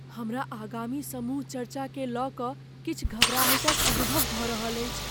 हमरा आगामी समूह चर्चाकेँ लऽ कऽ किछु घबराहटिक अनुभव भऽ रहल छी।